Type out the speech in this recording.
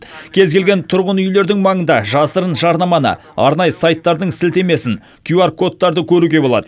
кез келген тұрғын үйлердің маңында жасырын жарнаманы арнайы сайттардың сілтемесін кюар кодтарды көруге болады